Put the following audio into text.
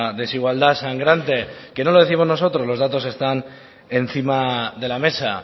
desigualdad sangrante que no lo décimos nosotros los datos están encima de la mesa